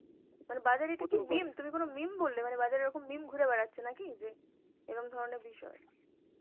মানে বাজারে meme তুমি কোনো meme বললে মানে বাজারে এরকম meme ঘুরে বেড়াচ্ছে নাকি যে এরম ধরনের বিষয়ে.